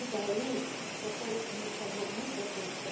E daí, uma coisa que me chamou muito a atenção,